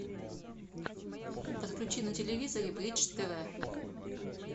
подключи на телевизоре бридж тв